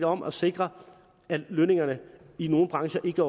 om at sikre at lønningerne i nogle brancher ikke